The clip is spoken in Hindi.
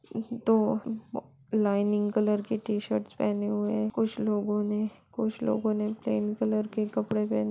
दो लाइनिंग कलर के टी-शर्ट पहने हुए हैं कुछ लोगों ने कुछ लोगों ने प्लेन कलर के कपड़े पहने--